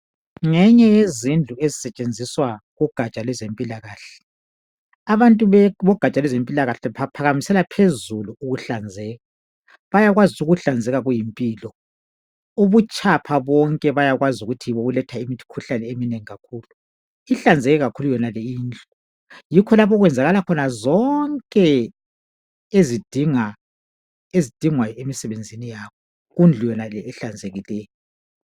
Ngenye yezindlu ezisetshenziswa kugatsha lwezempilakahle. Abantu bogatsha lwezempilakahle baphakamisela phezulu ukuhlanzeka bayakwazi ukuthi ukuhlanzeka kuyimpilo ,ubutshapha bonke bayakwazi ukuthi yibo obuletha imikhuhlane eminengi kakhulu. Ihlanzeke kakhulu yonale indlu, yikho lapho okwenzakala khona zonke ezidinga ezidingwa emisebenzini yabo kundlu yonale ehlanzekileyo.